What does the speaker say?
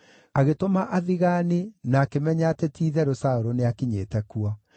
agĩtũma athigaani na akĩmenya atĩ ti-itherũ Saũlũ nĩakinyĩte kuo.